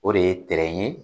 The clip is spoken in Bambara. O de ye ye